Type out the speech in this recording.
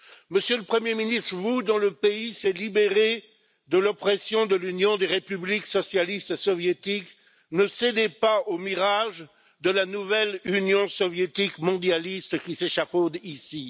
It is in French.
Monsieur le Premier ministre, vous dont le pays s'est libéré de l'oppression de l'Union des républiques socialistes soviétiques, ne cédez pas au mirage de la nouvelle Union soviétique mondialiste qui s'échafaude ici.